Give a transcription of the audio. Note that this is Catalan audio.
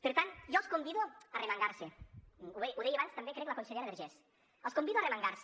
per tant jo els convido a arremangar se ho deia abans també crec la consellera vergés els convido a arremangar se